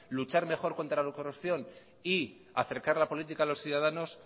luchar mejor contra la corrupción y acercar la política a los ciudadanos